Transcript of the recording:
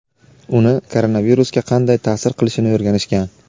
uni koronavirusga qanday ta’sir qilishini o‘rganishgan.